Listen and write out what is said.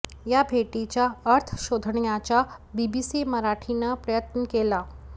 या भेटीचा अर्थ शोधण्याचा बीबीसी मराठीनं प्रयत्न केला